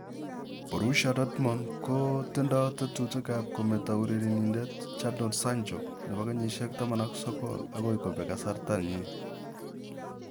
Borussia Dortmund koti do tetutik ab kemeto urerenindet Jadon Sancho, 19 akoi kobeg kasarta ni.